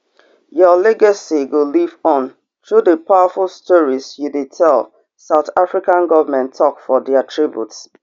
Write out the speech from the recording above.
your legacy go live on through di powerful stories you dey tell south african govment tok for dia tributes